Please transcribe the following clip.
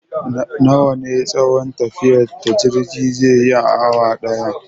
Nawa ne tsayon tafiyar da jirge zai yi a awa ɗaya?